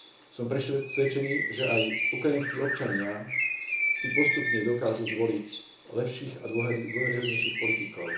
Som presvedčený, že aj ukrajinskí občania si postupne dokážu zvoliť lepších a dôveryhodnejších politikov.